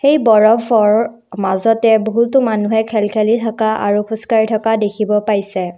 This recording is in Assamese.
এই বৰফৰ মাজতে বহুতো মানুহে খেল খেলি থকা আৰু খোজ কাঢ়ি থকা দেখিব পাইছে।